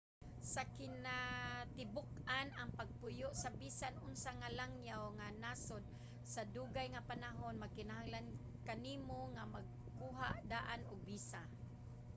sa kinatibuk-an ang pagpuyo sa bisan unsa nga langyaw nga nasod sa dugay nga panahon magkinahanglan kanimo nga magkuha daan og visa